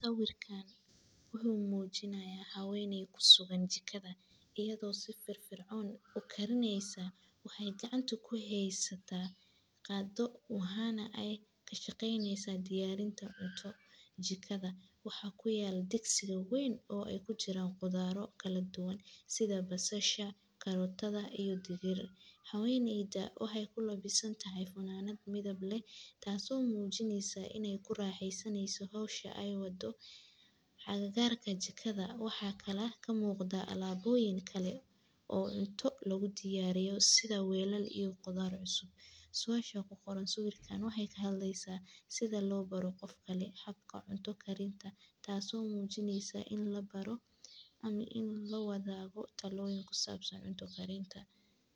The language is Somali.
Sugada waa cabitaan ama dareere cunto lagu daro si ay u noqoto mid macaan oo dhadhan leh, waxaana loo diyaariyaa iyadoo la adeegsado maaddooyin fudud sida sonkor, biyo, iyo mararka qaar liin, malab, ama dhir udgoon. Si loo diyaariyo suugada, waxaa la karkariyaa biyo iyo sonkor si ay u noqdaan isku-dar dareere